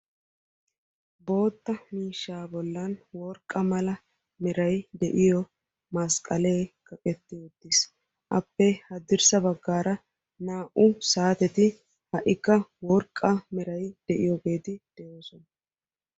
Bootta miishsha bollan worqqa mala meray de'iyoo masqalee kaqetti uttiis. appe hadirssa baggaara naa"u saatetti ha'ikka worqqa meray de'iyoogeti de'oosona.